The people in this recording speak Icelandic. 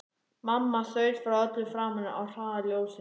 Mamma þaut frá öllu saman á hraða ljóssins.